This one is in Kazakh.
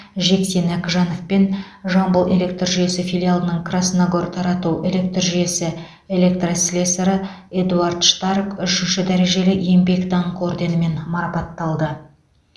жексен әкіжанов пен жамбыл электр жүйесі филиалының красногор тарату электр жүйесі электослесарі эдуард штарк үшінші дәрежелі еңбек даңқы орденімен марапатталды